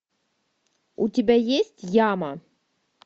у тебя есть яма